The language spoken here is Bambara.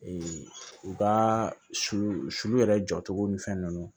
u ka sulu sulu yɛrɛ jɔcogo ni fɛn ninnu